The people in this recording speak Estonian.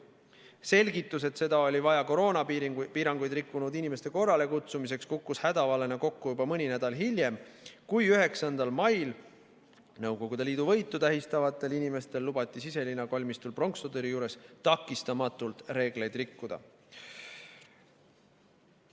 Selgitus, et seda oli vaja koroonapiiranguid rikkunud inimeste korrale kutsumiseks, kukkus hädavalena kokku juba mõni nädal hiljem, kui 9. mail Nõukogude Liidu võitu tähistavatel inimestele lubati Siselinna kalmistul pronkssõduri juures takistamatult reegleid rikkuda.